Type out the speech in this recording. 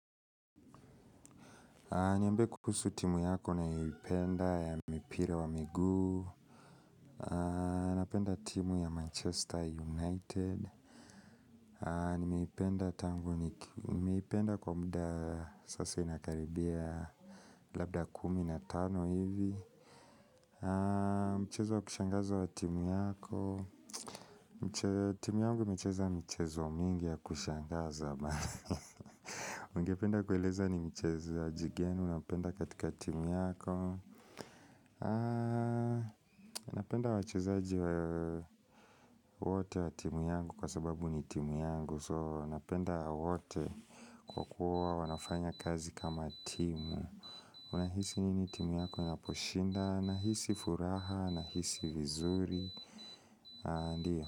Niambe kuhusu timu yako unayoipenda ya mipire wa miguu, napenda timu ya Manchester United, nimeipenda kwa muda sasa inakaribia labda kumi na tano hivi, mchezo wa kushangaza wa timu yako, timu yangu imecheza michezo mingi ya kushangaza bana, ungependa kueleza ni mchezaji gani unapenda katika timu yako, Napenda wachezaji wa wote wa timu yangu kwa sababu ni timu yangu So napenda wote kwa kuwa wanafanya kazi kama timu Unahisi nini timu yako inaposhinda, nahisi furaha, nahisi vizuri Ndio.